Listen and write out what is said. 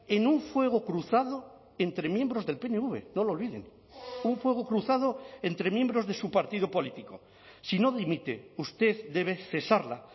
en un fuego cruzado entre miembros del pnv no lo olviden un fuego cruzado entre miembros de su partido político si no dimite usted debe cesarla